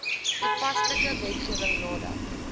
toepaslike wetgewing nadat